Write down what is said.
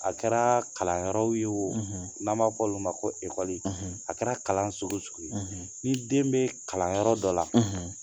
A kɛra kalanyɔrɔw ye o n'an b'a fɔ olu ma ko ekɔli, a kɛra kalan sugu o sugu ye, ni den bɛ kalanyɔrɔ dɔ la